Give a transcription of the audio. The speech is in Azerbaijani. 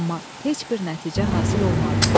Amma heç bir nəticə hasil olmadı.